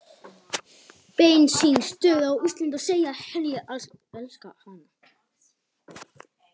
bensínstöð á Íslandi og segja henni að ég elski hana.